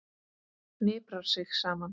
Hniprar sig saman.